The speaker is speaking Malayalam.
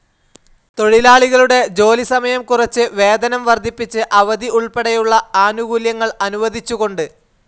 തൊഴിലാളികളുടെ ജോലി സമയം കുറച്ച്, വേതനം വർധിപ്പിച്ച്, അവധി ഉൾപ്പെടെയുള്ള ആനുകൂല്യങ്ങൾ അനുവദിച്ചുകൊണ്ട്.